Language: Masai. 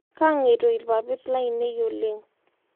Kaangeito lpapit lainie oleng